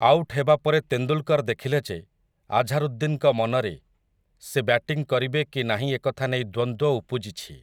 Out ହେବା ପରେ ତେନ୍ଦୁଲ୍‌କର୍‌ ଦେଖିଲେ ଯେ ଆଝାରୁଦ୍ଦିନ୍‌ଙ୍କ ମନରେ ସେ ବ୍ୟାଟିଂ କରିବେ କି ନାହିଁ ଏକଥା ନେଇ ଦ୍ୱନ୍ଦ୍ୱ ଉପୁଜିଛି ।